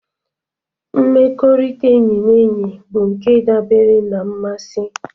Mmekọrịta enyi na enyi bụ nke dabere na mmasị.